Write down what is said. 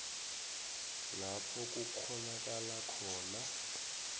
lapho kukghonakala khona